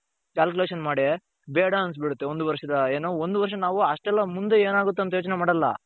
calculation ಮಾಡಿ ಬೇಡ ಅನ್ಸ್ಬಿಡುತ್ತೆ ಒಂದು ವರ್ಷದ ಏನು ಒಂದು ವರ್ಷ ನಾವು ಅಷ್ಟೆಲ್ಲಾ ಮುಂದೆ ಏನಾಗುತ್ತೆ ಅಂತ ಯೋಚನೆ ಮಾಡಲ್ಲ .